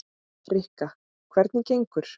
Rikka, hvernig gengur?